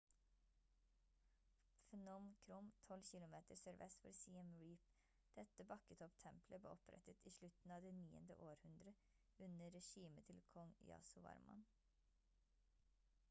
phnom krom 12 kilometer sørvest for siem reap dette bakketopp-tempelet ble opprettet i slutten av det 9. århundre under regimet til kong yasovarman